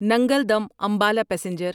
Nangal dam Ambala passenger